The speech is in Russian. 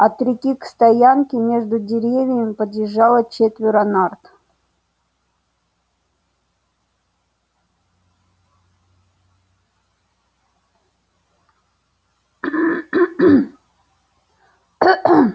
от реки к стоянке между деревьями подъезжало четверо нарт